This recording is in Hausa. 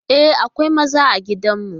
E, akwai maza a gidan mu mana.